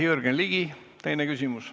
Jürgen Ligi, teine küsimus.